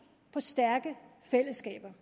på stærke fællesskaber